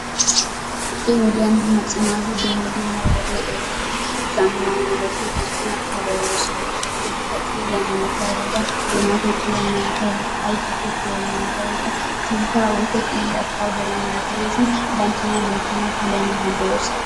Ha'i wode macca naati dumma dumma wodee ehiidonne zammaanabatun banttana puulayoosona. hageetikka xiilliyaa malatiyaageta doonaa tiyitooba malatiyaageta ayfiyaa tiyiyooba malatiyaageta sinttaa woykko xiilliyaa pawderiyaa malatiyaageetun banttana loyttanawu puulayanawu danddayoosona.